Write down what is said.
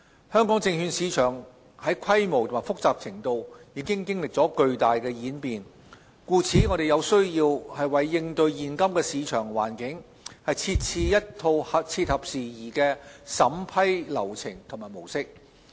香港證券市場在規模及複雜程度已經歷了巨大演變，故此有需要為應對現今的市場環境，設置一套切合時宜的審批流程及模式。